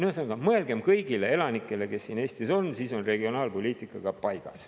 Ühesõnaga, mõelgem kõigile elanikele, kes siin Eestis on, siis on regionaalpoliitika paigas.